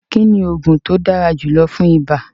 Kíni oogun ti o dára julọ̀ fún ìbà?